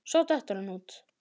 Svo dettur hann út.